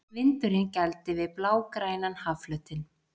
Vindurinn gældi við blágrænan hafflötinn.